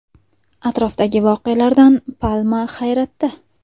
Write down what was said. Atrofdagi voqealardan palma hayratda.